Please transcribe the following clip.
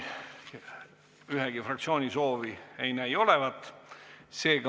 Ühegi fraktsiooni soovi ei näi olevat.